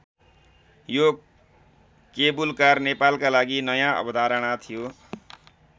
यो केवुलकार नेपालका लागि नयाँ अवधारणा थियो।